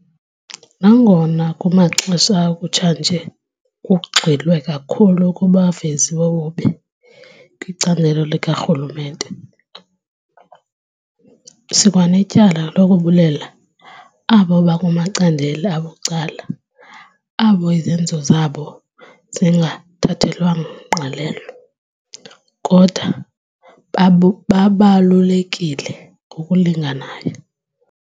Nangona kumaxesha akutshanje kugxilwe kakhulu kubavezi bobubi kwicandelo likarhulumente, sikwanetyala lokubulela abo bakumacandelo abucala abo izenzo zabo zingathathelwanga ngqalelo, kodwa babu babalulekile ngokulinganayo.